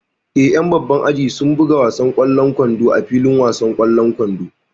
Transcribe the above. Eh, ƴan babban aji sun buga wasan ƙwallon kwando a filin wasan kwando